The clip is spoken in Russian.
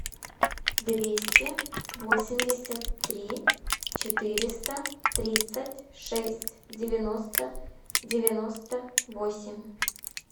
двести восемьдесят три четыреста тридцать шесть девяносто девяносто восемь